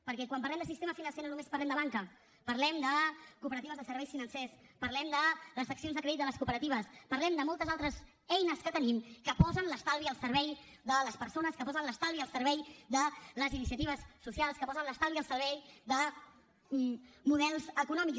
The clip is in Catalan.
perquè quan parlem de sistema financer no només parlem de banca parlem de cooperatives de serveis financers parlem de les seccions de crèdit de les cooperatives parlem de moltes altres eines que tenim que posen l’estalvi al servei de les persones que posen l’estalvi al servei de les iniciatives socials que posen l’estalvi al servei de models econòmics